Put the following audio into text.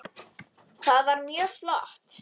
Það var mjög flott.